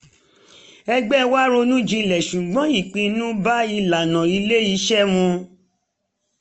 ẹgbẹ́ wá ronú jinlẹ̀ ṣùgbọ́n ìpinnu bá ìlànà ilé-iṣẹ́ mu